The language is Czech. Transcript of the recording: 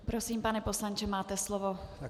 Prosím, pane poslanče, máte slovo.